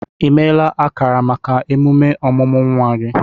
I meela akara maka emume ọmụmụ nwa gị?